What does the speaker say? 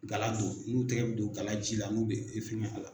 Galadon don, i n'u tɛgɛ bɛ don gala ji la n'u bɛ a la.